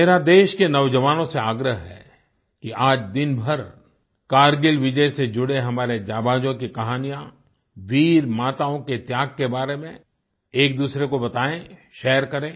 मेरा देश के नौजवानों से आग्रह है कि आज दिनभर कारगिल विजय से जुड़े हमारे जाबाजों की कहानियाँ वीरमाताओं के त्याग के बारे में एकदूसरे को बताएँ शेयर करें